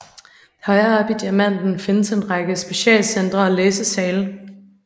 Højere oppe i Diamanten findes en række specialcentre og læsesale